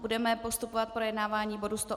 Budeme postupovat v projednávání bodu